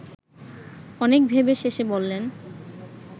অনেক ভেবে শেষে বললেন